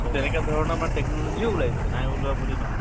তেনেকে ধৰণৰ মানে technology ও উলাইছে । নাই উলোৱা বুলি নহয় ।